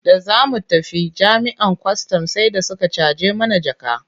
Da za mu tafi jami'an kwastam sai da suka caje mana jaka.